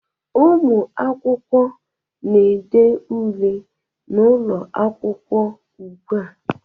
Ụmụ akwụkwọ na-ede ule n'ụlọ nzukọ ugbu a